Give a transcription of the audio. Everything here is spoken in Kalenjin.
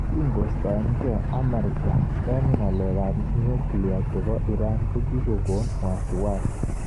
Kingoistogei Amerika eng ngaleekap. nyuklia chepo Iran kokikon wasi wasi